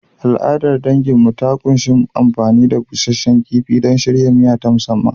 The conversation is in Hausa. Al’adar danginmu ta ƙunshi amfani da busasshen kifi don shirya miya ta musamman.